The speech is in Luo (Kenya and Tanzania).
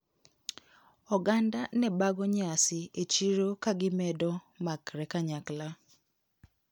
Oganda nebago nyasi e chiro kagimedo makre kanyakla.